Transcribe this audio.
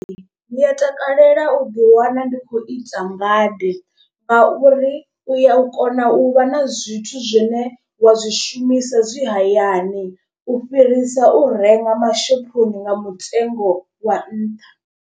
Ndi a takalela u ḓi wana ndi khou ita ngade ngauri u ya kona u vha na zwithu zwine wa zwi shumisa zwi hayani u fhirisa u renga mashophoni nga mutengo wa nṱha.